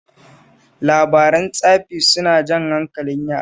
Labaran tsafi suna jan hankalin yara